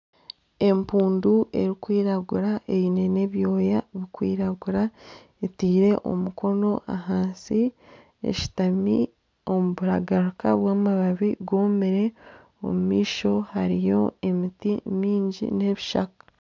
Empundu erikwiragura eine n'ebyooya ebirikwiragura etaire omukono ahansi eshutami omu buragarika bw'amabaabi gomire omumaisho hariyo emiti mingi n'ebishaka.